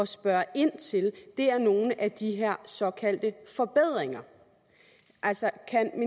spørge ind til er nogle af de her såkaldte forbedringer altså